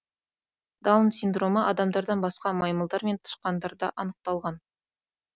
даун синдромы адамдардан басқа маймылдар мен тышқандарда анықталған